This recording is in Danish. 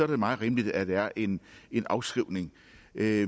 det meget rimeligt at der er en en afskrivning